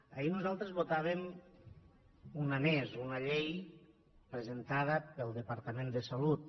ahir nosaltres en votàvem una més una llei presentada pel departament de salut